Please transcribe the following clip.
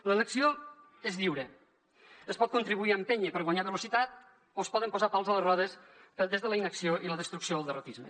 l’elecció és lliure es pot contribuir a empènyer per guanyar velocitat o es poden posar pals a les rodes des de la inacció i la destrucció o el derrotisme